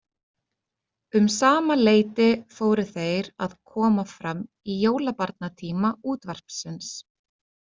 Um sama leyti fóru þeir að koma fram í jólabarnatíma útvarpsins.